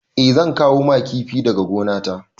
Eh zan kawo ma kifi daga gonata.